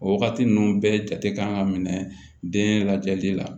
O wagati ninnu bɛɛ jate kan ka minɛ den lajɛli la